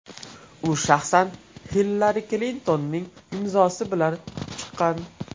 U shaxsan Hillari Klintonning imzosi bilan chiqqan.